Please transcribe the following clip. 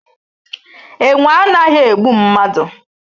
Enwe anaghi egbu mmadu